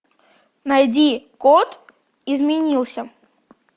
найди код изменился